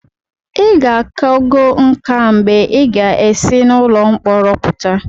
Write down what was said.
ị ga-akago nká mgbe ị ga-esi n'ụlọ mkpọrọ pụta